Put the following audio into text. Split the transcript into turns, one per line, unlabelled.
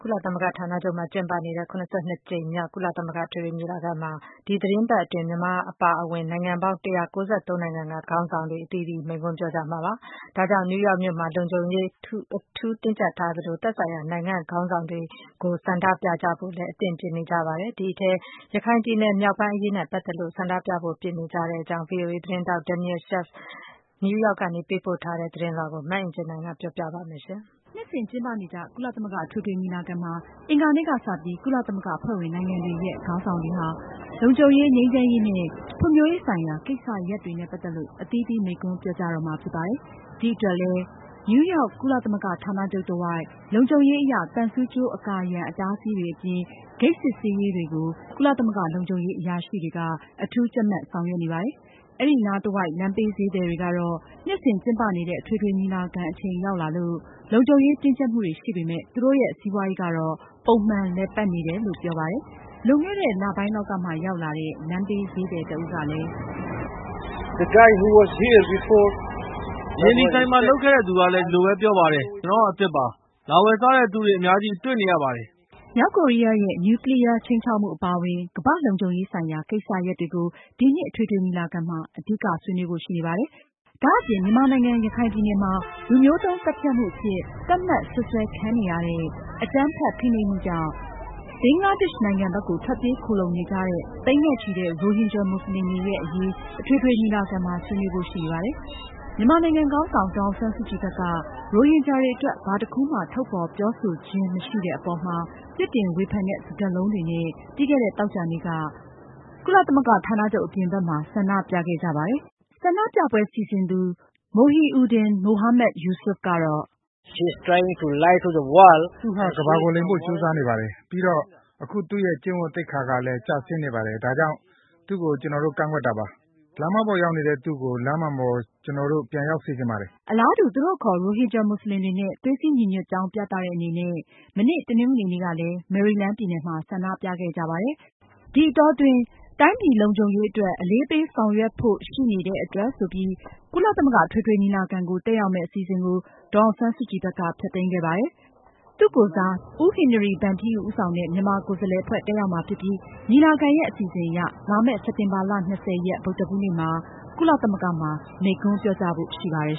ကုလသမဂ္ဂဌာနချုပ်မှာ ကျင်းပနေတဲ့ ၇၂ ကြိမ်မြောက် ကုလသမဂ္ဂအထွေထွေညီလာခံမှာ ဒီသတင်းပတ်အတွင်း မြန်မာအပါအဝင် နိုင်ငံပေါင်း ၁၉၃ နိုင်ငံက ခေါင်းဆောင်တွေ ရောက်ရှိပြီး အသီးသီး မိန့်ခွန်းပြောကြားမှာဖြစ်ပါတယ်။ ဒီအတွက် နယူးရောက်မြို့မှာ လုံခြုံရေးတွေ အထူးတင်းကြပ်ထားသလို သက်ဆိုင်ရာ နိုင်ငံခေါင်းဆောင်တွေကို ဆန္ဒပြဖို့လည်း အသင့်ပြင်နေကြပါတယ်။ ဒီအထဲမှာ ရခိုင်ပြည်နယ်မြောက်ပိုင်း အရေးနဲ့ပတ်သက်လို့ ဆန္ဒပြဖို့ ပြင်နေကြတဲ့အကြောင်း ဗွီအိုအေသတင်းထောက် Daniel Schearf နယူးရောက်က သတင်းပေးပို့ထားတာကို မအင်ကြင်းနိုင်က တင်ပြမှာပါ။ နှစ်
စဉ်ကျင်းပနေကြ ကုလသမဂ္ဂအထွေထွေညီလာခံမှာ အင်္ဂါနေ့က စပြီး ကုလသမဂ္ဂအဖွဲ့ဝင်နိုင်ငံတွေရဲ့ ခေါင်းဆောင်တွေဟာ လုံခြုံရေး၊ ငြိမ်းချမ်းရေးနဲ့ ဖွံဖြိုးရေးဆိုင်ရာ ကိစ္စရပ်တွေနဲ့ ပတ်သက်လို့ အသီးသီးမိန့်ခွန်းပြောကြားတော့မှာဖြစ်ပါတယ်။ ဒီအတွက်လည်း နယူးရောက် ကုလသမဂ္ဂဌာနချုပ်တဝိုက် လုံခြုံရေးအရ သံဆူကြိုး အကာအရံ အတားအဆီးတွေအပြင် ဂိတ်စစ်ဆေးရေးတွေကို ကုလသမဂ္ဂ လုံခြုံရေး အရာရှိတွေက အထူးကြပ်မတ်ဆောင်ရွက်နေပါတယ်။ အဲဒီနားတဝိုက် လမ်းဘေးဈေးသည်တွေကတော့ နှစ်စဉ်ကျင်းပနေတဲ့ အထွေထွေညီလာခံ အချိန် ရောက်လာလို့ လုံခြုံရေးတင်းကြပ်မှုတွေရှိပေမယ့် သူတို့ရဲ့ စီးပွားရေးကတော့ ပုံမှန်လည်ပတ်နေတယ်လို့ ပြောပါတယ်။ လွန်ခဲ့တဲ့ လပိုင်းလောက်ကမှ ရောက်လာတဲ့ လမ်းဘေးဈေးသည်တဦးကလည်း "
အရင်ဒီဆိုင်မှာ လုပ်ခဲ့တဲ့သူကလည်း အဲဒီလိုပြောပါတယ်။ ကျနော်က အသစ်ပါ။ အခုလဲ လာဝယ်စားသူတွေ အများကြီးတွေ့နေရပါတယ်။"
မြောက်ကိုရီးယားရဲ့ နျူးကလီးယားခြိမ်းခြောက်မှုအပါအဝင် ကမ္ဘာ့လုံခြုံရေးဆိုင်ရာ ကိစ္စရပ်တွေကို ဒီနှစ် အထွေထွေညီလာခံမှာ အဓိကဆွေးနွေးဖို့ရှိနေပါတယ်။ ဒါအပြင် မြန်မာနိုင်ငံ ရခိုင်ပြည်နယ်မှာ လူမျိုးတုန်းသတ်ဖြတ်မှုအဖြစ် သတ်မှတ်စွပ်စွဲခံရတဲ့ အကြမ်းဖက်ဖိနှိပ်မှုကြောင့်ဘင်္ဂလားဒေ့ရှ်နိုင်ငံဘက်ကို ထွက်ပြေးခိုလှုံနေကြတဲ့ သိန်းနဲ့ချီတဲ့ ရိုဟင်ဂျာမွတ်စလင်တွေရဲ့ အရေး အထွေထွေညီလာခံမှာ ဆွေးနွေးဖို့ ရှိနေပါတယ်။ မြန်မာနိုင်ငံခေါင်းဆောင် ဒေါ်အောင်ဆန်းစုကြည်ဘက်က ရိုဟင်ဂျာတွေအတွက် ဘာတခုမှ ထုတ်ဖေါ်ပြောဆိုခြင်းမရှိခဲ့တဲ့အပေါ်မှာ ပြစ်တင်ဝေဖန်တဲ့ စကားလုံးတွေနဲ့ ပြီးခဲ့တဲ့သောကြာနေ့က ကုလသမဂ္ဂဌာနချုပ် အပြင်ဘက်မှာ ဆန္ဒပြခဲ့ကြပါတယ်။ဆန္ဒပြပွဲ စီစဉ်သူ Mohiuddin Mohamad-Yusof ကတော့
"သူဟာ ကမ္ဘာကိုလိမ်ဖို
့ ကြိုးစားနေပါတယ်။ ပြီးတော့ အခုသူရဲ့ ကျင့်ဝတ်သိက္ခာကလည်း ကျဆင်းနေပါတယ်။ ဒါကြောင့် သူကို ကျနော်တို့ ကန့်ကွက်တာပါ။ လမ်းမှားပေါ်ရောက်နေတဲ့ သူ့ကို လမ်းမှန်ပေါ် ကျနော်တို့ ပြန်ရောက်စေချင်ပါတယ်။" အလားတူ သူတို့အခေါ် ရိုဟင်ဂျာမွတ်စလင်တွေနဲ့ သွေးစည်းညီညွတ်ကြောင်းပြသတဲ့အနေနဲ့ မနေ့ တနင်္ဂနွေနေ့ကလည်း မေရီလန်းပြည်နယ်မှာ ဆန္ဒပြခဲ့ကြပါတယ်။ ဒီအတောအတွင်း တိုင်းပြည် လုံခြုံရေးအတွက် အလေးပေးဆောင်ရွက်ဖို့ရှိနေတာကြောင့်ဆိုပြီး ကုလသမဂ္ဂအထွေထွေညီလာခံကို တက်ရောက်မယ့် အစီအစဉ်ကို ဒေါ်အောင်ဆန်းစုကြည်ဘက်က ဖျက်သိမ်းခဲ့ပါတယ်။ သူ့ကိုယ်စား ဒုသမ္မတ ဦးဟင်နီရီဗန်းထီယူ ဦးဆောင်တဲ့ မြန်မာကိုယ်စားလှယ် အဖွဲ့တက်ရောက်မှာဖြစ်ပြီး ညီလာခံရဲ့ အစီအစဉ်အရ လာမယ့် စက်တင်ဘာလ ၂၀ ရက် ဗုဒ္ဓဟူးနေ့မှာ ကုလသမဂ္ဂမှာ မိန့်ခွန်းပြောကြားဖို့ရှိပါတယ်